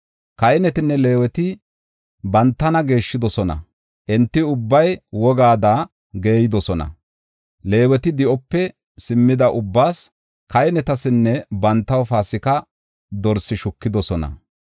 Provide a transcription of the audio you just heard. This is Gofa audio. Kahinetinne Leeweti bantana geeshshidosona; enti ubbay wogada geeydosona. Leeweti di7ope simmida ubbaas, kahinetasinne bantaw Paasika dorse shukidosona.